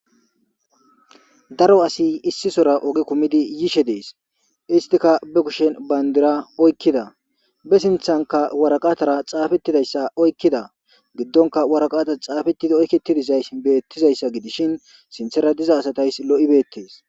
daro asi issisora ogi kumidi yishe dees istika be kushen bayndira oykkida be sinthanka waraqatara xaafettidayssa oykkida giddonka waraqata xaafetidi oyketidizaysi beettizayssa gidishin sinthera diza asatays lo7ibeettes